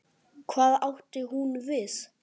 Hvað átti hún við?